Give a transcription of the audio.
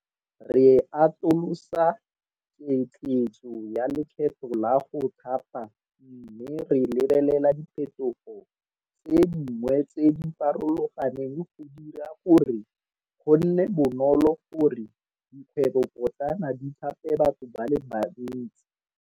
Re atolosa ketleetso ya lekgetho la go Thapa mme re lebelela diphetogo tse dingwe tse di farologaneng go dira gore go nne bonolo go re dikgwebopotlana di thape batho ba le bantsi.